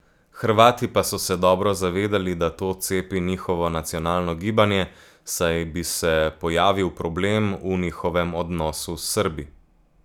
Hrvati pa so se dobro zavedali, da to cepi njihovo nacionalno gibanje, saj bi se pojavil problem v njihovem odnosu s Srbi.